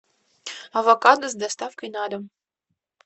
авокадо с доставкой на дом